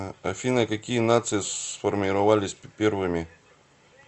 афина какие нации сформировались первыми